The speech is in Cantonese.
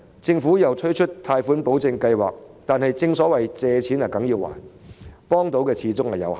政府推出貸款保證計劃，但正所謂"借錢梗要還"，可以提供的幫助始終有限。